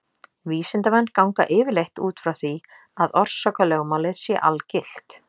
Vísindamenn ganga yfirleitt út frá því að orsakalögmálið sé algilt.